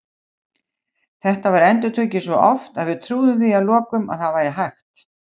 Þetta var endurtekið svo oft að við trúðum því að lokum að það væri hægt.